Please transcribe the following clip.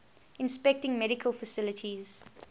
inspecting medical facilities